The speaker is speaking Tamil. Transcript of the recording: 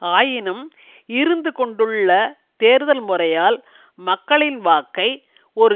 ஆயினும் இருந்துகொண்டுள்ள தேர்தல் முறையால் மக்களின் வாக்கை ஒரு